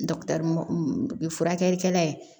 u bɛ furakɛli kɛ n'a ye